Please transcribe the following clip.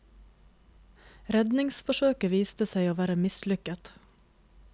Redningsforsøket viste seg å være mislykket.